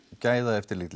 gæðaeftirlit